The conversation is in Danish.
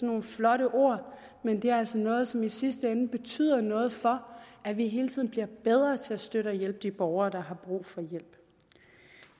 nogle flotte ord men det er altså noget som i sidste ende betyder noget for at vi hele tiden bliver bedre til at støtte og hjælpe de borgere der har brug for hjælp